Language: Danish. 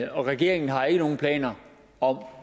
og regeringen har ikke nogen planer om